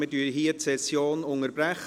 Wir unterbrechen die Session hier.